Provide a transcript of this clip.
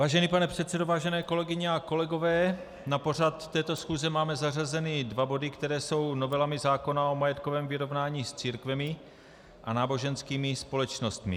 Vážený pane předsedo, vážené kolegyně a kolegové, na pořad této schůze máme zařazeny dva body, které jsou novelami zákona o majetkovém vyrovnání s církvemi a náboženskými společnostmi.